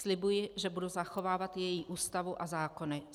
Slibuji, že budu zachovávat její Ústavu a zákony.